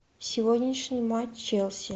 сегодняшний матч челси